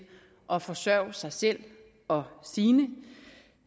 at forsørge sig selv og sine